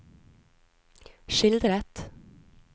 skildret